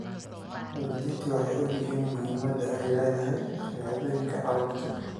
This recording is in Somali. Waalidiintu waxay og yihiin muhiimadda ay leedahay shahaadooyinka carruurta.